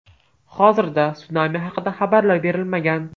Hozirda, sunami haqida xabarlar berilmagan.